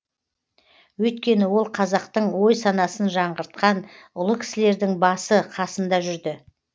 өйткені ол қазақтың ой санасын жаңғыртқан ұлы кісілердің басы қасында жүрді